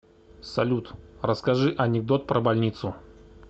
салют расскажи анекдот про больницу